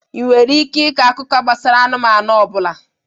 Ị nwere ike ịkọ akụkọ gbasara anụmanụ ọ bụla?